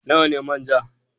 Nawa ne manja?